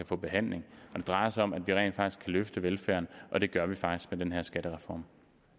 få behandling og det drejer sig om at vi rent faktisk kan løfte velfærden og det gør vi faktisk med den her skattereform